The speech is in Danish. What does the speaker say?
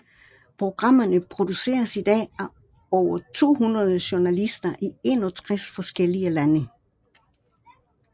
Programmerne produceres i dag af over 200 journalister i 61 forskellige lande